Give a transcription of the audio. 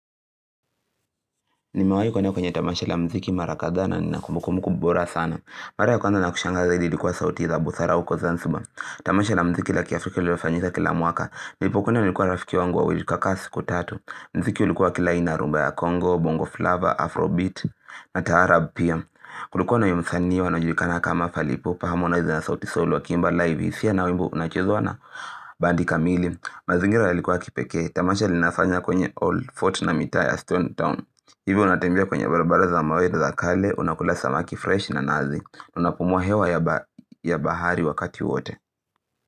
Nimewahi kuenda kwenye tamasha la muziki mara kadhaa na nina kumbukumbu bora sana. Mara ya kwanza nakushangaa zaidi ilikuwa sauti za busara uko Zanzibar. Tamasha la mziki la kiafrika lililofanyika kila mwaka. Nilipokwenda nilikuwa rafiki wangu wawili tukakaa siku tatu. Mziki ulikuwa wa kila aina rumba ya Congo, Bongoflava, Afrobeat na taarabu pia. Kulikuwa na huyo msani wanaojulikana kama fali ipupa harmonize na sauti soul wakiimba live. Pia na wimbo unachezwa na bandi kamili. Mazingira yalikuwa ya kipekee Tamasha linafanya kwenye Old Fort na mitaa ya Stone Town Hivyo unatembea kwenye barabara za mawele za kale Unakula samaki fresh na nazi Unapumua hewa ya bahari wakati wote.